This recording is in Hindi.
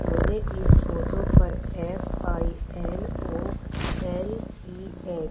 मुझे इस फोटो पर एफ_आई_एन_ओ एल_इ_ए --